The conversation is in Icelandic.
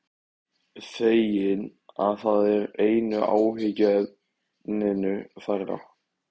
Feginn að það er einu áhyggjuefninu færra.